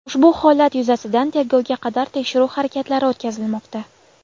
Ushbu holat yuzasidan tergovga qadar tekshiruv harakatlari o‘tkazilmoqda.